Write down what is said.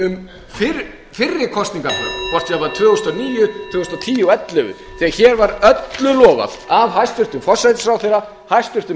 um fyrri kosningarnar kosningarnar tvö þúsund og níu tvö þúsund og tíu og tvö þúsund og ellefu þegar hér var öllu lofað af hæstvirtum forsætisráðherra hæstvirtur